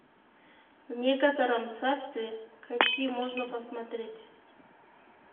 в некотором царстве какие можно посмотреть